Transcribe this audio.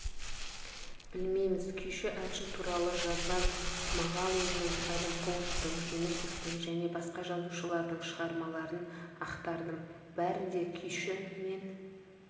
білмейміз күйші әнші туралы жазған мағауиннің әлімқұловтың жүнісовтің және басқа жазушылардың шығармаларын ақтардым бәрінде күйші мен